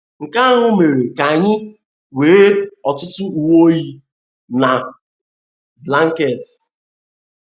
Nke ahụ mere ka anyị nwee ọtụtụ uwe oyi na blanket.